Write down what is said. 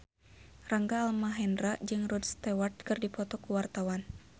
Rangga Almahendra jeung Rod Stewart keur dipoto ku wartawan